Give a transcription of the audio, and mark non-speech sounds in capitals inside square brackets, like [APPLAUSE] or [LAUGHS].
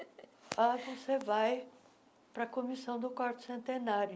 [LAUGHS] Ah, você vai para a comissão do quarto centenário.